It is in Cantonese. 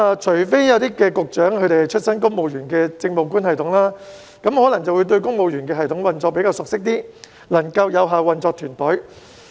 除非某些局長出身公務員政務官系統，對公務員系統運作比較熟悉，才能夠有效運作團隊。